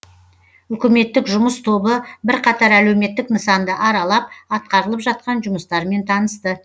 үкіметтік жұмыс тобы бірқатар әлеуметтік нысанды аралап атқарылып жатқан жұмыстармен танысты